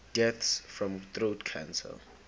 deaths from throat cancer